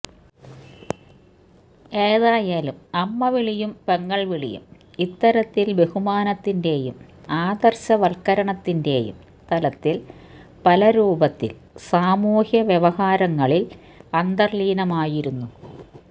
ഏതായാലും അമ്മവിളിയും പെങ്ങള് വിളിയും ഇത്തരത്തില് ബഹുമാനത്തിന്റെയും ആദര്ശവല്കരണത്തിന്റെയും തലത്തില് പലരൂപത്തില് സാമൂഹ്യവ്യവഹാരങ്ങളില് അന്തര്ലീനമായിരുന്നു